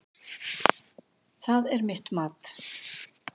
Það er mitt mat.